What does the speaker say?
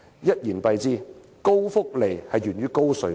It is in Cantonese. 一言蔽之，高福利源於高稅率。